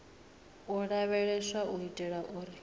u lavheleswa u itela uri